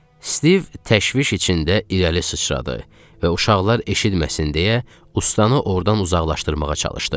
Stiv təşviş içində irəli sıçradı və uşaqlar eşitməsin deyə ustaanı ordan uzaqlaşdırmağa çalışdı.